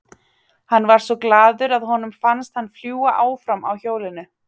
Hann var svo glaður að honum fannst hann fljúga áfram á hjólinu.